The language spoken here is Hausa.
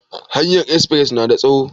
Hanyar espres na da tsawo?